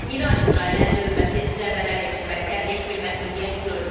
İran İsrailə növbəti zərbələri endirməkdə heç bir məhdudiyyət görmür.